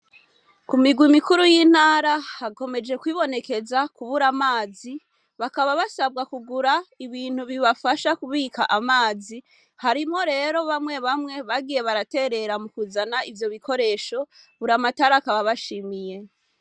Ku migwi mikuru y'intara hakomeje kwibonekeza kubura amazi bakaba basabwa kugura ibintu bibafasha kubika amazi harimo rero bamwe bamwe bagiye baraterera mu kuzana ivyo bikoresho buri amatari akaba bashimiye.